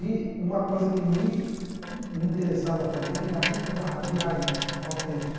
E uma coisa que me me interessava também é a música da ra de raiz, autêntica.